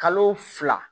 Kalo fila